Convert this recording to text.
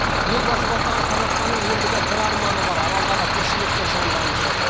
елбасы бастаған қазақстанның ендігі бір арманы бар аралдағы тіршілікті жандандыру